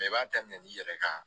i b'a daminɛ i yɛrɛ kan